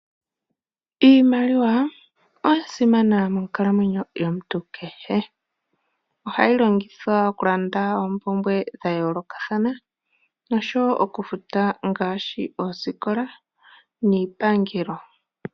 Iimaliwa oyasimana monkalamwenyo yomuntu kehe, ohayi longithwa okulanda ompumbwe dhayolokathana oshowo okufuta ngaashi oskola niipangelo .